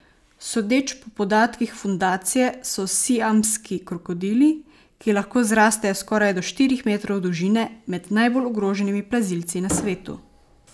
Sodeč po podatkih fundacije so siamski krokodili, ki lahko zrastejo skoraj do štirih metrov dolžine, med najbolj ogroženimi plazilci na svetu.